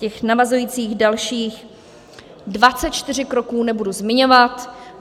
Těch navazujících dalších 24 kroků nebudu zmiňovat.